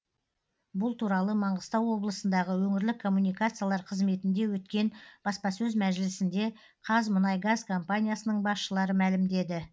бұл туралы маңғыстау облысындағы өңірлік коммуникациялар қызметінде өткен баспасөз мәжілісінде қазмұнайгаз компаниясының басшылары мәлімдеді